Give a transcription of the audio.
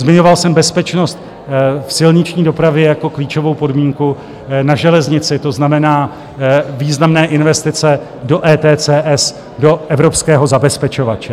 Zmiňoval jsem bezpečnost v silniční dopravě jako klíčovou podmínku, na železnici, to znamená významné investice do ETCS, do evropského zabezpečovače.